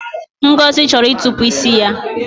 Ngozi chọrọ ịtọpụ isi ya